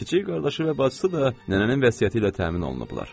Kiçik qardaşı və bacısı da nənənin vəsiyyəti ilə təmin olunublar.